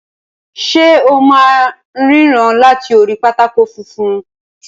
Ṣe o máa n ríran láti orí pátákó funfun?